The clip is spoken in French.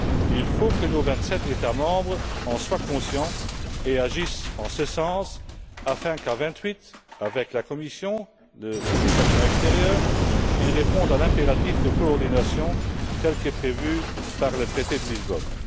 Il faut que nos vingt sept États membres en soient conscients et agissent en ce sens, afin qu'à vingt huit, avec la Commission, le Service pour l'action extérieure, ils répondent à l'impératif de coordination tel que prévu par le traité de Lisbonne.